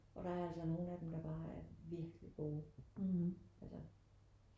Og der er altså nogen af dem der bare er virkelig gode altså